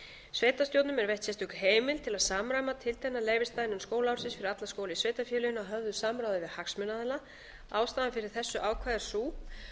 sveitarstjórnum er veitt heimild til að samræma tiltekna leyfisdaga innan skólaársins fyrir alla skóla í sveitarfélaginu að höfðu samráði við hagsmunaaðila ástæðan fyrir þessu ákvæði er sú